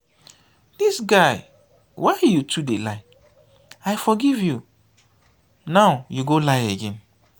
dis guy why you too dey lie? i forgive you nowyou go lie again.